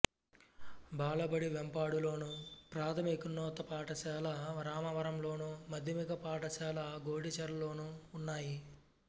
బాలబడి వేంపాడులోను ప్రాథమికోన్నత పాఠశాల రామవరంలోను మాధ్యమిక పాఠశాల గోడిచెర్లలోనూ ఉన్నాయి